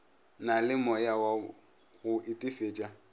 na le moyawa go itefetša